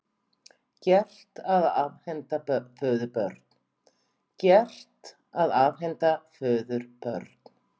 Gert að afhenda föður börn